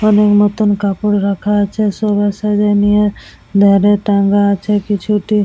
অনেক নতুন কাপড় রাখা আছে সবার সাইজ -এ নিয়ে ধারে টাঙ্গা আছে কিছু টি--